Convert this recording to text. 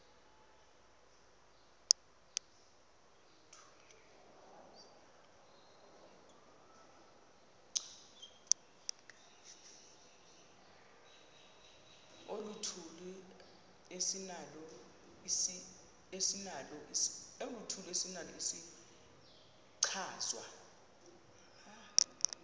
oluthile esinalo isichazwa